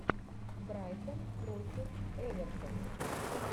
брайтон против эвертона